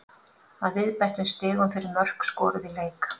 Að viðbættum stigum fyrir mörk skoruð í leik.